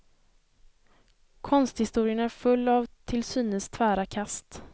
Konsthistorien är full av till synes tvära kast.